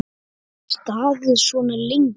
Staðið svona lengi?